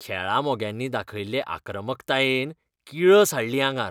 खेळा मोग्यांनी दाखयल्ले आक्रमकतायेन किळस हाडली आंगार.